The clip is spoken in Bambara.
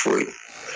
Foyi